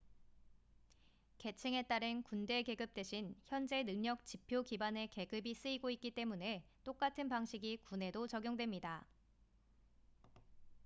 계층에 따른 군대 계급 대신 현재 능력 지표 기반의 계급이 쓰이고 있기 때문에 똑같은 방식이 군에도 적용됩니다